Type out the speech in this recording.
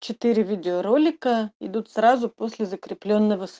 четыре видеоролика идут сразу после закрепленого